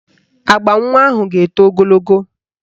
Agba nwa ahụ ga-eto ogologo